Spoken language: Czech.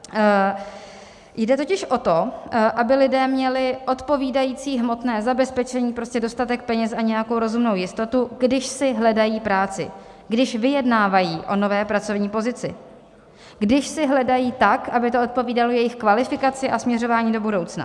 Jde totiž o to, aby lidé měli odpovídající hmotné zabezpečení, prostě dostatek peněz a nějakou rozumnou jistotu, když si hledají práci, když vyjednávají o nové pracovní pozici, když si hledají tak, aby to odpovídalo jejich kvalifikaci a směřování do budoucna.